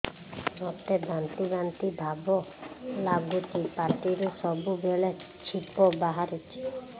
ମୋତେ ବାନ୍ତି ବାନ୍ତି ଭାବ ଲାଗୁଚି ପାଟିରୁ ସବୁ ବେଳେ ଛିପ ବାହାରୁଛି